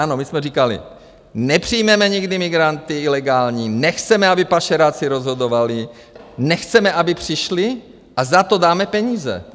Ano, my jsme říkali: nepřijmeme nikdy migranty ilegální, nechceme, aby pašeráci rozhodovali, nechceme, aby přišli, a za to dáme peníze.